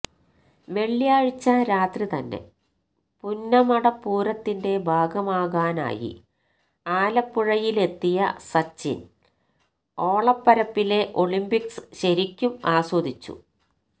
വെള്ളിയാഴ്ച രാത്രി തന്നെ പുന്നമടപ്പൂരത്തിന്റെ ഭാഗമാകാനായി ആലപ്പുഴയിലെത്തിയ സച്ചിന് ഓളപ്പരപ്പിലെ ഒളിമ്പിക്സ് ശരിക്കും ആസ്വദിച്ചു